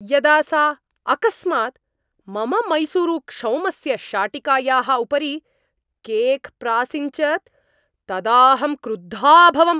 यदा सा अकस्मात् मम मैसूरुक्षौमस्य शाटिकायाः उपरि केक् प्रासिञ्चत् तदा अहं क्रुद्धा अभवम्।